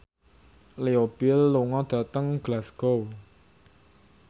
Leo Bill lunga dhateng Glasgow